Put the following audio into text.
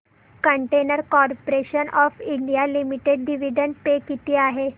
container corporation of India limited dividend pay किती आहे